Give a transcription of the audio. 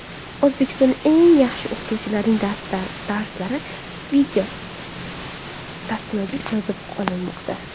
O‘zbekistonda eng yaxshi o‘qituvchilarning darslari videotasmaga yozib olinmoqda.